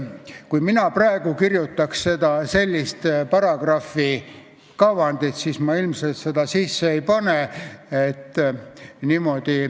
Kui mina praegu kirjutaks selle paragrahvi kavandit, siis ma ilmselt seda sisse ei paneks.